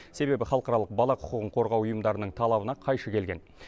себебі халықаралық бала құқығын қорғау ұйымдарының талабына қайшы келген